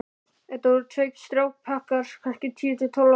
Þetta voru tveir strákpjakkar, kannski tíu til tólf ára.